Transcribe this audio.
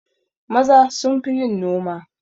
Maza sunfi yin noma